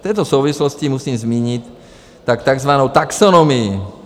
V této souvislosti musím zmínit takzvanou taxonomii.